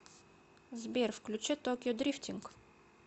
сбер включи токио дрифтинг